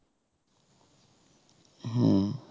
হম